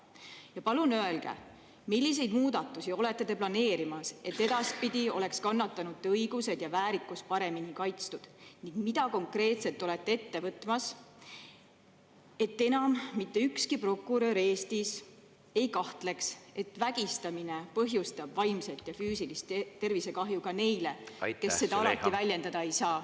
Ja palun öelge, milliseid muudatusi olete te planeerimas, et edaspidi oleks kannatanute õigused ja väärikus paremini kaitstud, ning mida konkreetset olete ette võtmas, et enam mitte ükski prokurör Eestis ei kahtleks, et vägistamine põhjustab vaimset ja füüsilist tervisekahju ka neile, kes seda alati väljendada ei saa.